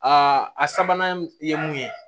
Aa a sabanan ye mun ye